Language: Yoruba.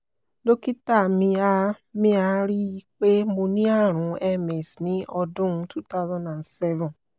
dokita mi a mi a rí i pé mo ní àrùn ms ní ọdún two thousand and seven